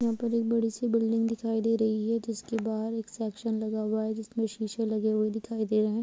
यहां पर एक बड़ी सी बिल्डिंग दिखाई दे रही है जिसके बाहर एक सेक्शन लगा हुआ है जिसमें शीशे लगे हुए दिखाई दे रहे हैं।